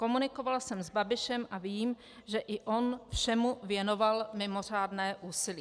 Komunikoval jsem s Babišem a vím, že i on všemu věnoval mimořádné úsilí."